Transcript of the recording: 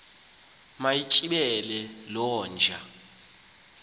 mayitsibele loo nja